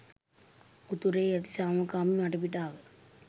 උතුරේ ඇති සාමකාමී වටපිටාව